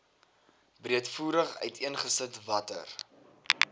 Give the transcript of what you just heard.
breedvoerig uiteengesit watter